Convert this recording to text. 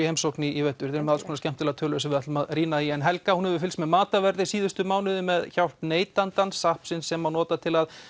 heimsókn í vetur þið með alls konar skemmtilegar tölur sem við ætlum að rýna í en Helga hefur fylgst með matarverði síðustu mánuði með hjálp neytandans sem má nota til að